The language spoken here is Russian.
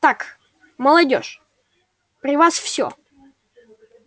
так молодёжь при вас всё